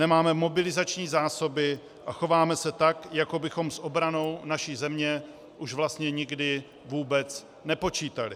Nemáme mobilizační zásoby a chováme se tak, jako bychom s obranou naší země už vlastně nikdy vůbec nepočítali.